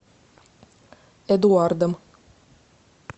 эдуардом